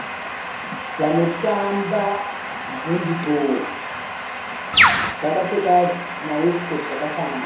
Vanotamba hendi bho vakapfeka zvimawesitikoti zvakafanana.